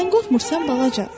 Sən qorxmursan balaca?